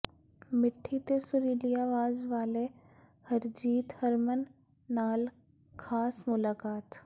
ਮਿੱਠੀ ਤੇ ਸੁਰੀਲੀ ਆਵਾਜ਼ ਵਾਲੇ ਹਰਜੀਤ ਹਰਮਨ ਨਾਲ ਖਾਸ ਮੁਲਾਕਾਤ